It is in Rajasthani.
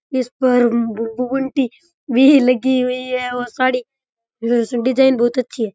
इस पर बुनती भी लगी हुई है और साड़ी डिजाइन बहुत अच्छी है।